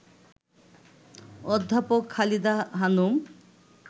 অধ্যাপক খালেদা হানুম